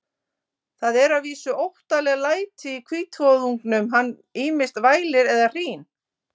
Það eru að vísu óttaleg læti í hvítvoðungnum, hann ýmist vælir eða hrín.